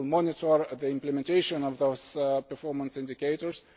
We will monitor the implementation of those performance indicators.